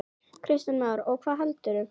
Kristján Már: Og hvað veldur?